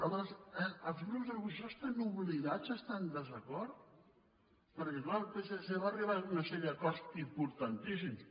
aleshores els grups de l’oposició estan obligats a estar en desacord perquè clar el psc va arribar a una sèrie d’acords importantíssims